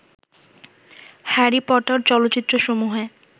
Harry Potter চলচ্চিত্রসমূহে